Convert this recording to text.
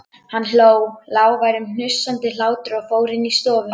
Hann hló, lágværum, hnussandi hlátri og fór inn í stofu.